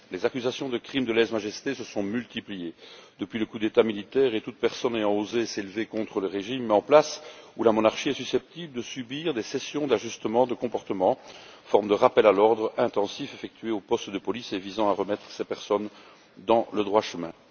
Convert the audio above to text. Les accusations de crime de lèse majesté se sont multipliées depuis le coup d'État militaire et toute personne ayant osé s'élever contre le régime en place ou la monarchie est susceptible de subir des sessions d'ajustement de comportement, forme de rappel à l'ordre intensif effectué au poste de police et visant à remettre ces personnes dans le droit chemin.